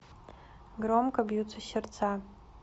громко бьются сердца